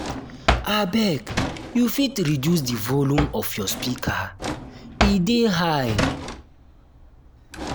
abeg you fit reduce di volume of your speaker e dey high. um